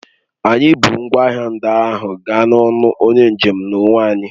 Anyị bu ngwa ahịa ndị ahụ gaa n'ọnụ onye njem n'onwe anyị